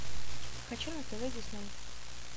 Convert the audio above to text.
хочу на тв дисней